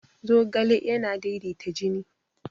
zogale yana daidaita jini